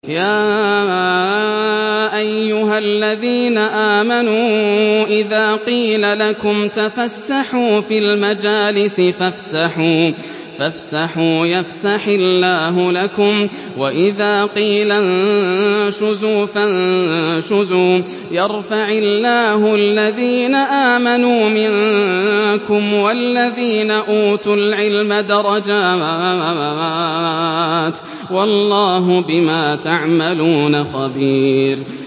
يَا أَيُّهَا الَّذِينَ آمَنُوا إِذَا قِيلَ لَكُمْ تَفَسَّحُوا فِي الْمَجَالِسِ فَافْسَحُوا يَفْسَحِ اللَّهُ لَكُمْ ۖ وَإِذَا قِيلَ انشُزُوا فَانشُزُوا يَرْفَعِ اللَّهُ الَّذِينَ آمَنُوا مِنكُمْ وَالَّذِينَ أُوتُوا الْعِلْمَ دَرَجَاتٍ ۚ وَاللَّهُ بِمَا تَعْمَلُونَ خَبِيرٌ